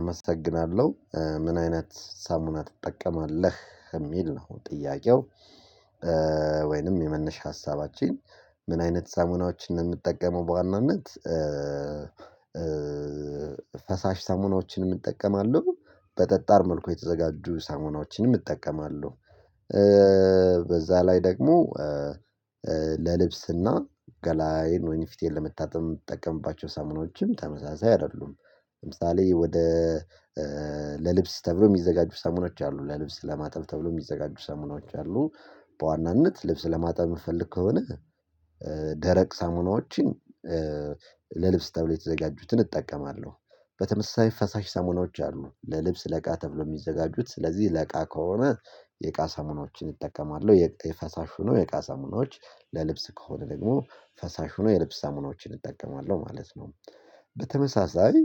አመሰግናለሁ ምን አይነት ሳሙና ትጠቀማለህ የሚል ነው ጥያቄው? ወይንም የመነሻ ሀሳባችን ምን አይነት ሳሙናዎችን ነው ምጠቀመው በዋናነት። ፈሳሽ ሳሙናዎችንም እጠቀማለሁ በጠጣር መልኩ የተዘጋጁ ሳሙናዎችንም እጠቀማለሁ። በዛ ላይ ደግሞ ለልብስና ገላዬን ወይንም ፊቴን ለመታጠብ የምትጠቀምባቸው ሳሙናዎችም ተመሳሳይ አይደሉም። ለምሳሌ ወደ ለልብስ ተብሎ የሚዘጋጁ ሳሙናዎች አሉ ለልብስ ለማጥብ ተብሎ የሚዘጋጁ ሳሙናዎችች አሉ። በዋናነት ልብስ ለማጣት የምፈልግ ከሆነ ደረቅ ሳሙናዎችን ለልብስ ተብሎ የተዘጋጁትን እጠቀማለሁ። በተመሳሳይ ፈሳሽ ሳሙናዎች አሉ ለልብስ እቃ ተብሎ የሚዘጋጁት ስለዚህ ለእቃ ከሆነ የእቃ ሳሙናዎችን እጠቀማለሁ። የፈሳሹ ነው የእቃ ሳሙናዎች ለልብስ ከሆነ ደግሞ ፈሳሽ ሆኖ የልብስ ሳሙናዎችን እጠቀማለሁ ማለት ነው። በተመሳሳይ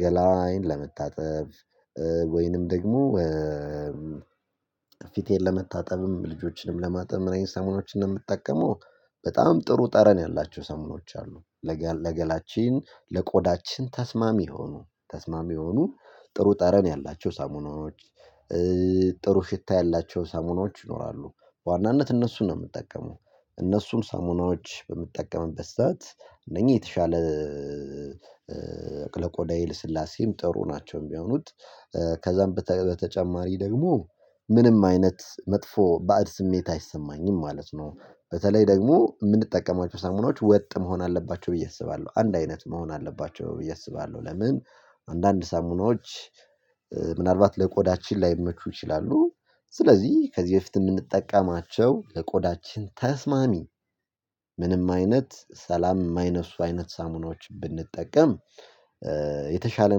ገላዪን ለመታጠብ ወይንም ደግሞ ፊቴን ለመታጠብም ልጆችንም ለማጠብ ምን አይነት ሳሙናዎችን ነው የምጠቀመው? በጣም ጥሩ ጠረን ያላቸው ሳሙናዎች አሉ። ለገላችን ለቆዳችን ተስማሚ የሆኑ ተስማሚ የሆኑ ጥሩ ጠረን ያላቸው ሳሙናዎች። ጥሩ ሽታ ያላቸው ሳሙናዎች ይኖራሉ በዋናነት እነሱን ነው የምጠቀመው። እነሱን ሳሙናዎች በምጠቀምበት ሰዓት እነኚህ የተሻለ ለቆዳዬ ልስላሴም ጥሩ ናቸው የሚሆኑት። ከዛም በተጨማሪ ደግሞ ምንም አይነት መጥፎ ባዕድ ስሜት አይሰማኝም ማለት ነው። በተለይ ደግሞ የምንጠቀማቸው ሳሙናዎች ወጥ መሆን አለባቸው ብዬ አስባለሁ አንድ አይነት መሆን አለባቸው ብዬ አስባለሁ። ለምን አንዳንድ ሳሙናዎች ምናልባት ለቆዳችን ላይመቹ ይችላሉ። ስለዚህ ከዚህ በፊት የምንጠቀማቸው ለቆዳችን ተስማሚ ምንም አይነት ሰላም የማይነሱ አይነት ሳሙናዎች ብንጠቀም። የተሻለ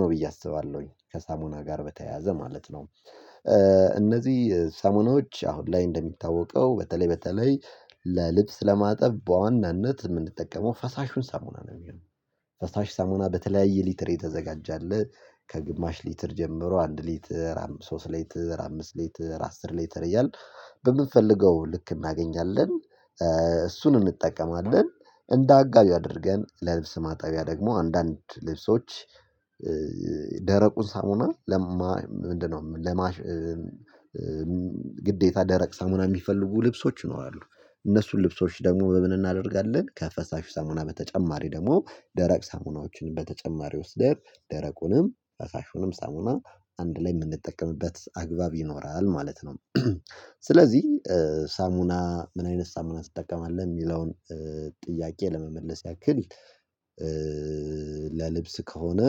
ነው ብዬ አስባለሁኝ ከሳሙና ጋር በተያያዘ ማለት ነው። እነዚህ ሳሙናዎች አሁን ላይ እንደሚታወቀው በተለይ በተለይ ለልብስ ለማጠብ በዋናነት የምንጠቀመው ፈሳሹን ሳሙና ነው የሚሆነው። ፈሳሽ ሳሙና በተለያየ ሊትር የተዘጋጀ አለ። ከግማሽ ሊትር ጀምሮ አንድ ሊትር ሶስት ሊትር አምስት ሊትር አስር ሊትር እያልን በምንፈልገው ልክ እናገኛለን። እሱን እንጠቀማለን እንደ አጋዥ አድርገን ለልብስ ማጠቢያ ደግሞ አንዳንድ ልብሶች ደረቁን ሳሙና ለማ ምንድነው ለማሸት? ግዴታ ደረቅ ሳሙና የሚፈልጉ ልብሶች ይኖራሉ። እነሱን ልብሶች ደግሞ በምን እናደርጋለን ከፈሳሹ ሳሙና በተጨማሪ ደግሞ ደረቅ ሳሙናዎችን በተጨማሪ ወስደን ደረቁንም ፈሳሹንም ሳሙና አንድ ላይ የምንጠቀምበት አግባብ ይኖራል ማለት ነው። ስለዚህ ሳሙና ምን አይነት ሳሙና ትጠቀማለህ የሚለውን። ጥያቄ ለመመለስ ያክል ለልብስ ከሆነ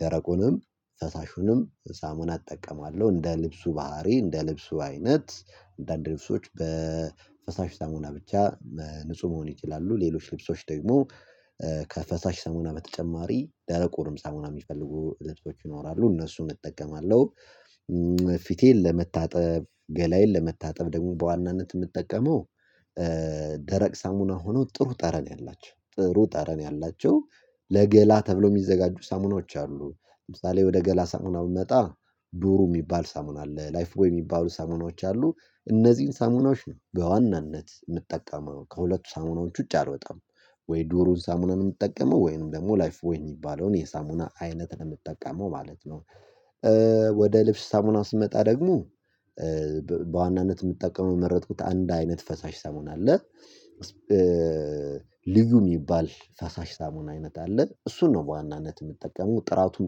ደረቁንም ፈሳሹንም ሳሙና እጠቀማለሁ እንደ ልብሱ ባህሪ እንደ ልብሱ አይነት። አንዳንድ ልብሶች በፈሳሽ ሳሙና ብቻ ንጹህ መሆን ይችላሉ ሌሎች ልብሶች ደግሞ ከፈሳሽ ሳሙና በተጨማሪ ደረቁንም ሳሙና የሚፈልጉ ልብሶች ይኖራሉ እነሱን እጠቀማለሁ። ፊቴን ለመታጠብ ገላዬን ለመታጠብ ደግሞ በዋናነት የምጠቀመው ደረቅ ሳሙና ሆኖ ጥሩ ጠረን ያላቸው ጥሩ ጠረን ያላቸው ለገላ ተብሎ የሚዘጋጁ ሳሙናዎች አሉ። ለምሳሌ ወደ ገላ ሳሙና ብመጣ ዶሩ የሚባል ሳሙና አለ ላይፍ ቦይ የሚባሉ ሳሙናዎች አሉ። እነዚህን ሳሙናዎች በዋናነት የምጠቀመው ከሁለቱ ሳሙናዎች ውጪ አልወጣም። ወይ ዶሩን ሳሙናን የምጠቀመው ወይንም ደግሞ ላይፍ ቦይን የሚባለውን የሳሙና አይነት ነው የምጠቀመው ማለት ነው። ወደ ልብስ ሳሙና ስመጣ ደግሞ በዋናነት የምጠቀመው የመረጥኩት አንድ አይነት ፈሳሽ ሳሙና አለ። ልዩ የሚባል ፈሳሽ ሳሙና አይነት አለ እሱን ነው በዋናነት የምጠቀመው ጥራቱም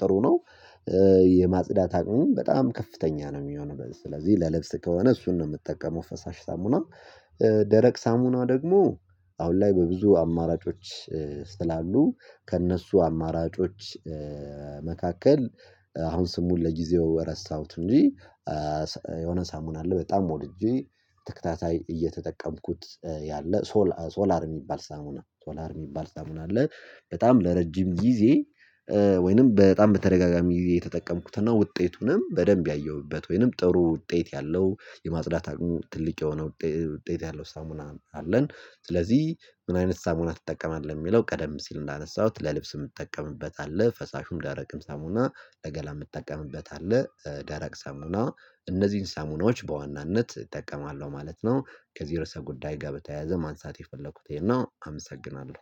ጥሩ ነው። የማጽዳት አቅሙም በጣም ከፍተኛ ነው የሚሆነው ስለዚህ ለልብስ ከሆነ እሱን ነው የምጠቀመው ፈሳሽ ሳሙና። ደረቅ ሳሙና ደግሞ አሁን ላይ በብዙ አማራጮች ስላሉ ከእነሱ አማራጮች መካከል አሁን ስሙን ለጊዜው ረሳሁት እንጂ። የሆነ ሳሙና አለ በጣም ወድጄ ተከታታይ እየተጠቀምኩት ያለ ሶላር የሚባል ሳሙና ሶላር የሚባል ሳሙና አለ። በጣም ለረጅም ጊዜ ወይንም በጣም በተደጋጋሚ የተጠቀምኩትና ውጤቱንም በደንብ ያየሁበት ወይንም ጥሩ ውጤት ያለው የማጽዳት አቅሙ ትልቅ የሆነ ውጤት ያለው ሳሙና አለን። ስለዚህ ምን አይነት ሳሙና ትጠቀማለህ የሚለው ቀደም ሲል እንዳነሳሁት ለልብስ የምጠቀምበት አለ ፈሳሹም ደረቅም ሳሙና ለገላ የምጠቀምበት አለ። ደረቅ ሳሙና እነዚህን ሳሙናዎች በዋናነት እጠቀማለሁ ማለት ነው። ከዚ እርዕሰ ጉዳይ ጋር በተያያዘ ማንሳት የፈለኩት ይሄን ነው አመሰግናለሁ